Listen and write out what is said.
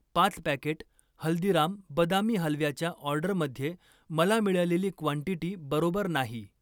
पाच पॅकेट हल्दीराम बदामी हलव्याच्या ऑर्डरमध्ये मला मिळालेली क्वांटिटी बरोबर नाही.